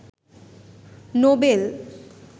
Nobel